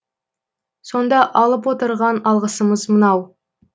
сонда алып отырған алғысымыз мынау